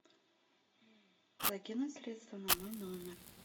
закинуть средства на мой номер